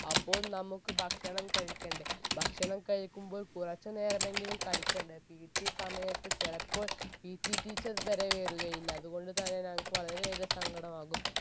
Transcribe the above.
അപ്പോൾ നമുക്ക് ഭക്ഷണം കഴിക്കണ്ടെ ഭക്ഷണം കഴിക്കുമ്പോൾ കുറച്ചു നേരമെങ്കിലും കളിക്കണ്ടേ PT സമയത്ത് ചിലപ്പോൾ PT teacher വരെ വരുകയില്ല അതുകൊണ്ട് തന്നെ ഞങ്ങക്ക് വളരെയേറെ സങ്കടമാകും